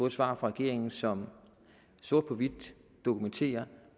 et svar fra regeringen som sort på hvidt dokumenterer